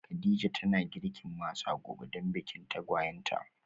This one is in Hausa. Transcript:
Kadija tana girkin masa gobe dan bikin tagwayen ta